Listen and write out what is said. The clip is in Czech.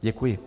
Děkuji.